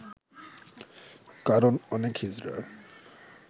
কারণ অনেক হিজড়া